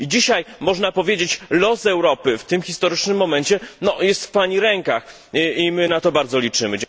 I dzisiaj, można powiedzieć, los Europy, w tym historycznym momencie, jest w Pani rękach i my na to bardzo liczymy.